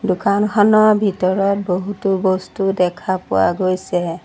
দোকানখনৰ ভিতৰত বহুতো বস্তু দেখা পোৱা গৈছে।